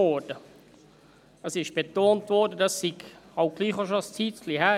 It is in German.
Es wurde betont, das sei doch schon eine gewisse Zeit her.